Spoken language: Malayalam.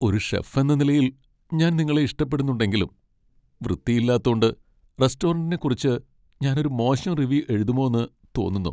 ഒരു ഷെഫ് എന്ന നിലയിൽ ഞാൻ നിങ്ങളെ ഇഷ്ടപ്പെടുന്നുണ്ടെങ്കിലും, വൃത്തി ഇല്ലാത്തോണ്ട് റെസ്റ്റോറന്റിനെക്കുറിച്ച് ഞാൻ ഒരു മോശം റിവ്യൂ എഴുതുമോന്ന് തോന്നുന്നു.